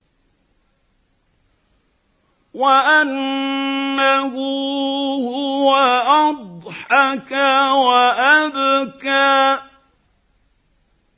وَأَنَّهُ هُوَ أَضْحَكَ وَأَبْكَىٰ